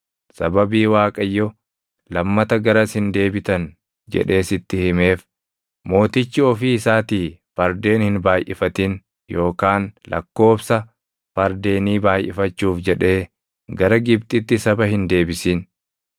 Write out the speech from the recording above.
Sababii Waaqayyo, “Lammata garas hin deebitan” jedhee sitti himeef, mootichi ofii isaatii fardeen hin baayʼifatin yookaan lakkoobsa fardeenii baayʼifachuuf jedhee gara Gibxitti saba hin deebisin.